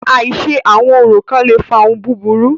Àìṣe àwọn orò kán le fa ohun búburú.